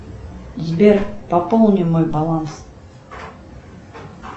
сбер пополни мой баланс